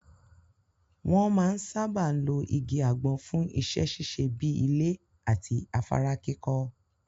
Wọn máa ń sáábà lo igi àgbọn fún iṣẹ́ ṣíṣe bíi ilé àti afárá kíkọ́.